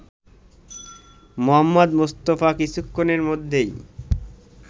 মুহম্মদ মুস্তাফা কিছুক্ষণের মধ্যেই